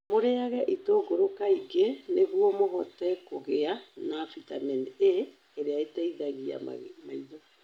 Mũrĩage itũngũrũ kaingĩ nĩguo mũhote kũgĩa na bitamini A, ĩrĩa ĩteithagia maitho.